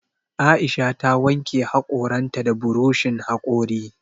Aisha ta wanke haƙoran ta da buroshin haƙori